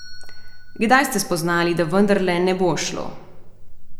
Kdaj ste spoznali, da vendarle ne bo šlo?